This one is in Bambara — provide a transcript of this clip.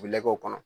U bɛ lɛw kɔnɔ